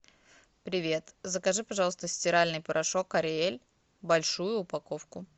привет закажи пожалуйста стиральный порошок ариэль большую упаковку